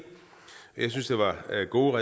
går